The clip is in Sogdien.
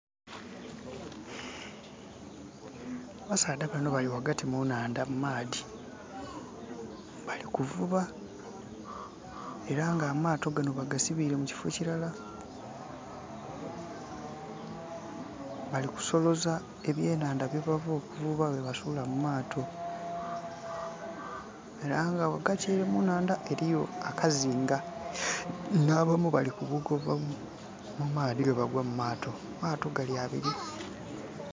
Abasaadha bano bali ghagati mu nhandha mu maadhi. Bali kuvuba, era nga amaato gano bagasibiile mu kifo kilala. Bali kusoloza ebyenhanda bye bava okuvuba bwe basuula mu maato. Era nga ghagati ele mu nhandha eliyo akazinga. Nh'abamu balikubuka okuva mu maadhi bwe bagwa mu maato. Amaato gali abili.